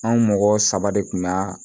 Anw mɔgɔ saba de kun ga